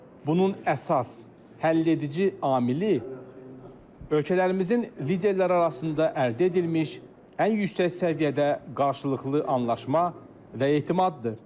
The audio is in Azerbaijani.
Bunun əsas, həll edici amili ölkələrimizin liderləri arasında əldə edilmiş ən yüksək səviyyədə qarşılıqlı anlaşma və etimaddır.